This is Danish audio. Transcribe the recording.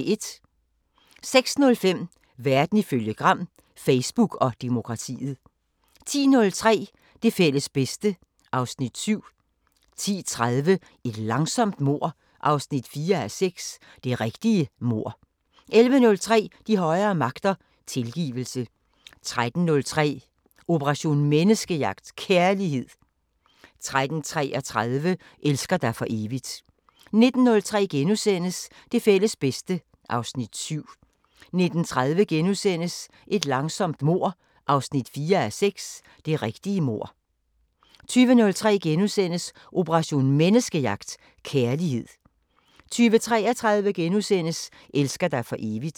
06:05: Verden ifølge Gram: Facebook og demokratiet 10:03: Det fælles bedste (Afs. 7) 10:30: Et langsomt mord 4:6 – Det rigtige mord 11:03: De højere magter: Tilgivelse 13:03: Operation Menneskejagt: Kærlighed 13:33: Elsker dig for evigt 19:03: Det fælles bedste (Afs. 7)* 19:30: Et langsomt mord 4:6 – Det rigtige mord * 20:03: Operation Menneskejagt: Kærlighed * 20:33: Elsker dig for evigt *